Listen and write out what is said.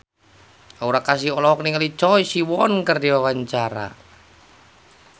Aura Kasih olohok ningali Choi Siwon keur diwawancara